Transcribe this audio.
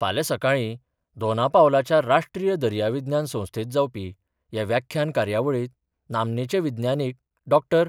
फाल्यां सकाळी दोनापावलाच्या राष्ट्रीय दर्याविज्ञान संस्थेत जावपी ह्या व्याख्यान कार्यावळीत नामनेचे विज्ञानिक डॉ.